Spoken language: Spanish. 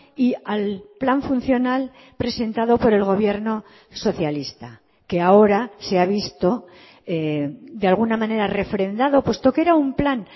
y al plan funcional presentado por el gobierno socialista que ahora se ha visto de alguna manera refrendado puesto que era un plan